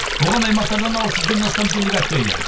оған аймақтардан алты жүзден астам делегат келген